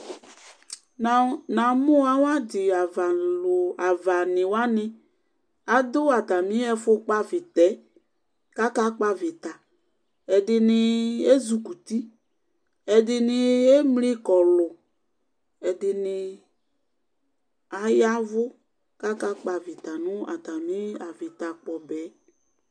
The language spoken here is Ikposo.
Namʋ awʋadi avani wani adʋ atami ɛfʋ kpɔ avita yɛ kʋ akakpɔ avita ɛdini azʋ kʋti ɛdini emli kɔlʋ ɛdini ya ɛvʋ kʋ akakpɔ avita nʋ atami avita kpɔbɛ